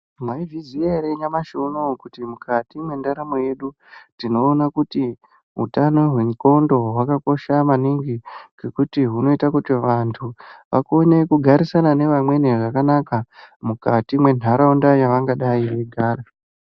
Mwaizviziya ere nyamushi unowu kuti mukati mwendaramo yedu tinoona kuti hutano hwendxondo hwakakosha maningi ngokuti hunoita kuti vantu vakone kugarisana neamweni zvakanaka mukati mwentaraunda yavangadai veigara.